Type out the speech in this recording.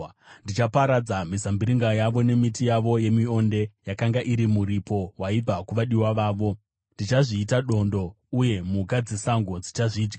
Ndichaparadza mizambiringa yavo nemiti yavo yemionde yakanga iri muripo waibva kuvadiwa vavo. Ndichazviita dondo, uye mhuka dzesango dzichazvidya.